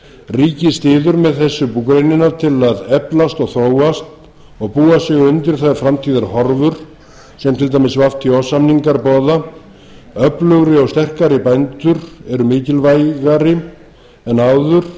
ríkið styður með þessu búgreinina til að eflast og þróast og búa sig undir þær framtíðarhorfur sem til dæmis átt samningar boða öflugri og sterkari bændur eru mikilvægari en áður